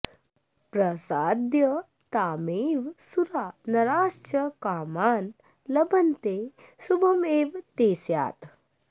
प्रसाद्य तामेव सुरा नराश्च कामान् लभन्ते शुभमेव ते स्यात्